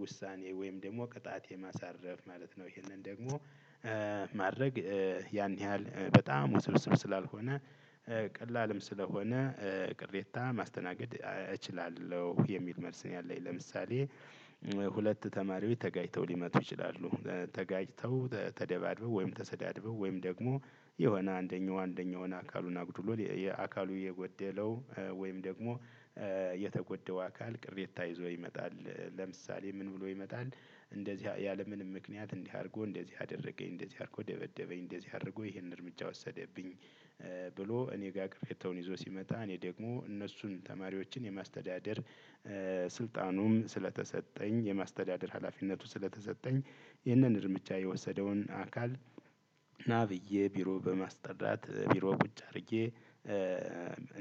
ውሳኔ ወይም ደግሞ ቅጣት የማሳረፍ ማለት ነው። ይህንን ደግሞ ማድረግ ያን ያህል በጣም ውስብስብ ስላልሆነ ቀላልም ስለሆነ ቅሬታ ማስተናገድ እችላለሁ የሚል መልስ ነው። ያለኝ ለምሳሌ ሁለት ተማሪዎች ተጋጭተው ሊመጡ ይችላሉ ተጋጭተው ተደባድበው ወይም ተሰዳድበው ወይም ደግሞ የሆነ አንደኛው አንደኛውን አካሉን አጉድሎው ያ አካሉ የጎደለው ወይም ደግሞ የተጎዳው አካል ቅሬታ ይዞ ይመጣል። ለምሳሌ ምን ብሎ ይመጣል እንደዚህ ያለምንም ምክንያት እንዲህ አድርጎ እንደዚህ አደረገኝ እንደዚህ አድርጎ ደበደበኝ እንደዚህ አድርጎ ይሄንን እርምጃ ወሰደብኝ። ብሎ እኔ ጋር ቅሬታውን ይዞ ሲመጣ እኔ ደግሞ እነሱን ተማሪዎችን የማስተዳደር ስልጣኑም ስለተሰጠኝ የማስተዳደር ሀላፊነቱ ስለተሰጠኝ ይህንን እርምጃ የወሰደውን አካል ና ብየ ቢሮ በማስጠራት ቢሮ ቁጭ አድርጌ።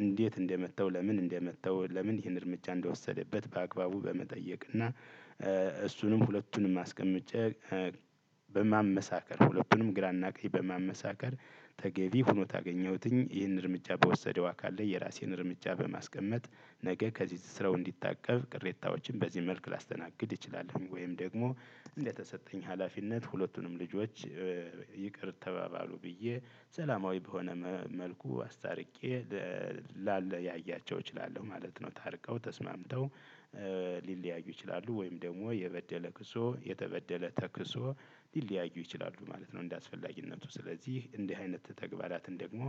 እንዴት እንደመታው ለምን እንደመታው ለምን ይህን እርምጃ እንደወሰደበት በአግባቡ በመጠየቅ እና እሱንም ሁለቱንም አስቀምጨ በማመሳከር ሁለቱንም ግራና ቀይ በማመሳከር ተገቢ ሆኖ ታገኘሁትኝ ይህንን እርምጃ በወሰደው አካል ላይ የራሴን እርምጃ በማስቀመጥ ነገ ከዚህ ስራው እንዲታቀብ ቅሬታዎችን በዚህ መልክ ላስተናግድ እንችላለን ወይም ደግሞ እንደተሰጠኝ ሀላፊነት ሁለቱንም ልጆች ይቅር ተባባሉ ብየ ሰላማዊ በሆነ መልኩ አስታርቄ በ ላለያያቸው እችላለሁ ማለት ነው። ታርቀው ተስማምተው ሊለያዩ ይችላሉ ወይም ደግሞ የበደለ ክሶ የተበደለ ተክሶ ሊለያዩ ይችላሉ ማለት ነው። እንደአስፈላጊነቱ ስለዚህ እንዲህ አይነት ተግባራትን ደግሞ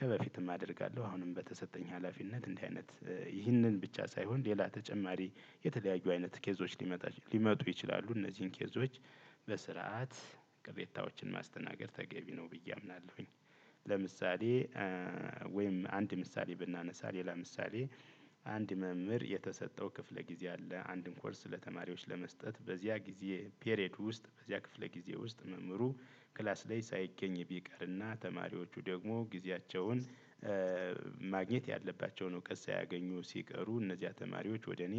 ከበፊትም አደርጋለሁ አሁንም በተሰጠኝ ሀላፊነት እንዲህ አይነት ይህንን ብቻ ሳይሆን ሌላ ተጨማሪ የተለያዩ አይነት ኬዞች ሊመጡ ይችላሉ እነዚህን ኬዞች በስርዓት ቅሬታዎችን ማስተናገድ ተገቢ ነው ብየ አምናለሁኝ። ለምሳሌ ወይም አንድ ምሳሌ ብናነሳ ሌላ ምሳሌ አንድ መምህር የተሰጠው ክፍለ ጊዜ አለ። አንድን ኮርስ ለተማሪዎች ለመስጠት በዚያ ጊዜ ፔሬድ ውስጥ በዚያ ክፍለ ጊዜ ውስጥ መምህሩ ክላስ ላይ ሳይገኝ ቢቀርና ተማሪዎች ደግሞ ግዚያቸውን ማግኘት ያለባቸውን እውቀት ሳያገኙ ሲቀሩ እነዚያ ተማሪዎች ወደ እኔ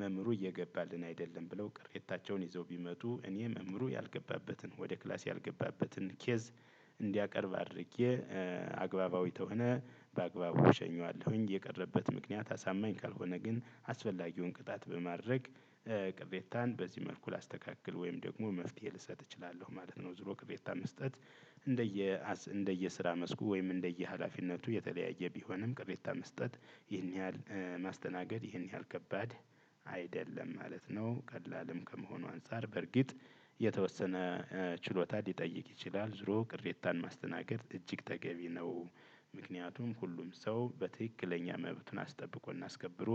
መምህሩ እየገባልን አይደለም ብለው ቅሬታቸውን ይዘው ቢመጡ እኔ መምህሩ ያልገባበትን ወደ ክላስ ያልገባበትን ኬዝ እንዲያቀርብ አድርጌ አግባባዊ ተሆነ በአግባቡ እሸኘዋለሁኝ። የቀረበት ምክንያት አሳማኝ ካልሆነ ግን አስፈላጊውን ቅጣት በማድረግ ቅሬታን በዚህ መልኩ ላስተካክል ወይም ደግሞ መፍትሄ ልሰጥ እችላለሁ ማለት ነው። ዙሮ ቅሬታ መስጠት እንደየ እንደየ ስራ መስኩ ወይም እንደየ ሀላፊነቱ የተለያየ ቢሆንም ቅሬታ መስጠት ይህን ያህል ማስተናገድ ይህን ያህል ከባድ አይደለም ማለት ነው። ቀላልም ከመሆኑ አንፃር በርግጥ የተወሰነ ችሎታ ሊጠይቅ ይችላል ዝሮ ቅሬታን ማስተናገድ እጅግ ተገቢ ነው። ምክንያቱም ሁሉም ሰው በትክክለኛ መብቱን አስጠብቆና አስከብሮ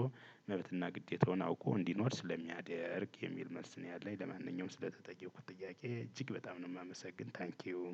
መብትና ግዴታውን አውቆ እንዲኖር ስለሚያደርግ የሚል መልስ ነው። ያለኝ ለማንኛውም ስለተጠየቁት ጥያቄ እጅግ በጣም ነው የማመሰግን ታንኪው።